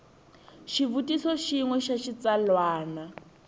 xivutiso xin we xa xitsalwana